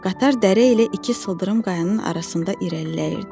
Qatar dərə ilə iki sıldırım qayanın arasında irəliləyirdi.